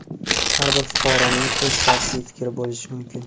har bir fuqaroning o‘z shaxsiy fikri bo‘lishi mumkin.